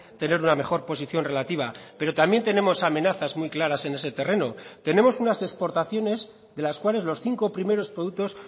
tener una mejor posición relativa pero también tenemos amenazas muy claras en ese terreno tenemos unas exportaciones de las cuales los cinco primeros productos